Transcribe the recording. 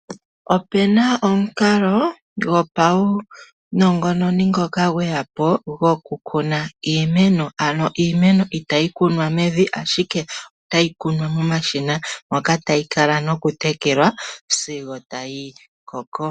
Opuna omukalo gopaunongononi ngono gweya po gwokukuna iimeno ano iimeno itayi kunwa mevi ashike otayi kunwa momashina moka tayi kala nokutekelwa sigo tayi koko.